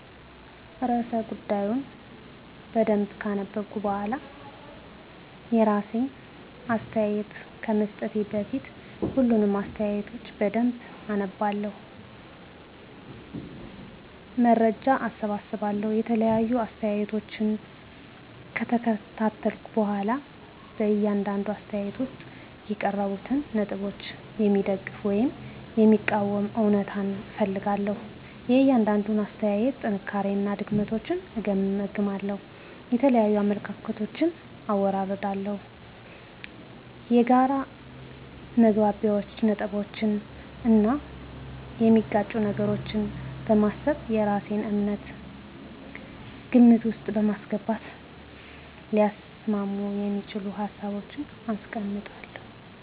*ርዕሰ ጉዳዩን በደንብ ካነበብኩ በኋላ፤ *የራሴን አስተያየት ከመስጠቴ በፊት፦ ፣ሁሉንም አስተያየቶች በደንብ አነባለሁ፣ መረጃ እሰበስባለሁ የተለያዩ አስተያየቶችን ከተከታተልኩ በኋላ በእያንዳንዱ አስተያየት ውስጥ የቀረቡትን ነጥቦች የሚደግፉ ወይም የሚቃወሙ እውነታዎችን እፈልጋለሁ፤ * የእያንዳንዱን አስተያየት ጥንካሬዎችና ድክመቶችን እገመግማለሁ። * የተለያዩ አመለካከቶችን አወዳድራለሁ። የጋራ መግባቢያ ነጥቦችን እና የሚጋጩ ነገሮችን በማሰብ የራሴን እምነት ግምት ውስጥ በማስገባት ሊያስማሙ የሚችሉ ሀሳቦችን አስቀምጣለሁ።